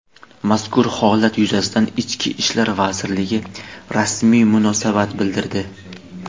Mazkur holat yuzasidan Ichki ishlar vazirligi rasmiy munosabat bildirdi.